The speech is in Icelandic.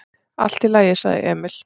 """Allt í lagi, sagði Emil."""